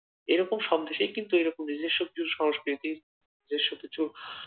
এরকম সব দেশেই কিন্তু এরকম নিজস্ব কিছু সংস্কৃতি